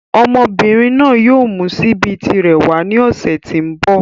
Ọmọbìnrin náà yóò mú síbí tirẹ̀ wàá ni ọ̀sẹ̀ tí ń bọ̀.